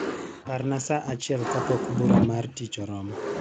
Parna saa achiel kapok bura mar tich oromo.